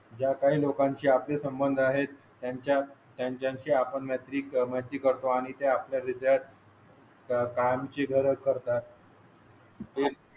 काही लोकांची आपले संबंध आहेत. त्यांच्या त्यांच्या शी आपण मैत्री माती करतो आणि ते आपल्या रिस्टार्ट. त्यांना कामाची गरज आहे.